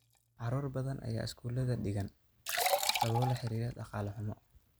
Carruur badan ayaa iskuulada dhigan sababo la xiriira dhaqaale xumo.